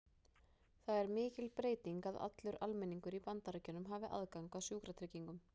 Það er mikil breyting að allur almenningur í Bandaríkjunum hafi aðgang að sjúkratryggingum.